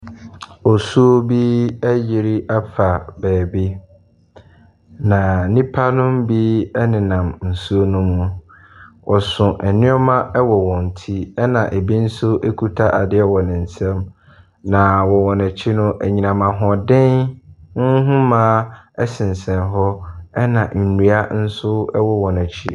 Osuo bi ayiri afa baabi. Na nnipa no bi nenam nsuo no ho. Wɔso nnoɔma wɔɔ wɔn ti. Ɛna ebi nso kuta adeɛ wɔ ne nsa. Na wɔn akyi no. anyinam ahoɔden nhoma sensɛn hɔ. Ɛna nnua nso wɔ wɔn akyi.